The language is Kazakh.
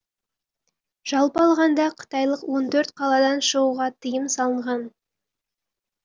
жалпы алғанда қытайлық он төрт қаладан шығуға тыйым салынған